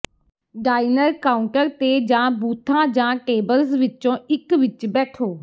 diner counter ਤੇ ਜਾਂ ਬੂਥਾਂ ਜਾਂ ਟੇਬਲਜ਼ ਵਿੱਚੋਂ ਇੱਕ ਵਿੱਚ ਬੈਠੋ